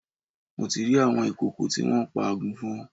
Mo rí àwọn ìkòkò tí wọ́n pa àgùnfọn